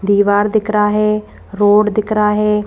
दीवार दिख रहा है रोड दिख रहा है।